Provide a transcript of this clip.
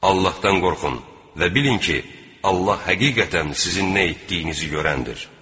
Allahdan qorxun və bilin ki, Allah həqiqətən sizin nə etdiyinizi görəndir.